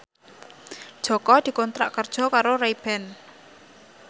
Jaka dikontrak kerja karo Ray Ban